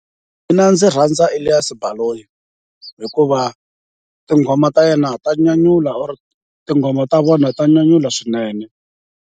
Mina ndzi rhandza Elias Baloyi hikuva tinghoma ta yena ta nyanyula or tinghoma ta vona ta nyanyula swinene.